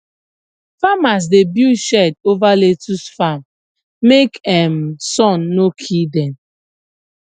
farmers dey build shade over lettuce farm make um sun no kill dem